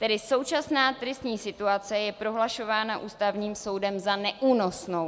Tedy současná tristní situace je prohlašována Ústavním soudem za neúnosnou.